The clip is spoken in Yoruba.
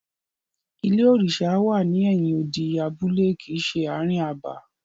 Ilé òrìṣà wà ní ẹ̀yin odi abúlé kìí ṣe ààrin abà.